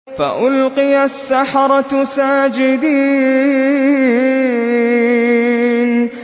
فَأُلْقِيَ السَّحَرَةُ سَاجِدِينَ